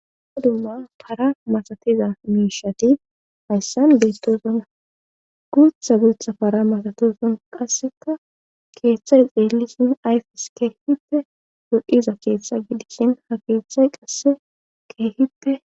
dumma para masatiza miishati hayssan beettosona guutha guutha para masatoson qasseka keeththadi xeellisin ayfes keehite godhiza keeththa gidishin ha keeththay qasse keehite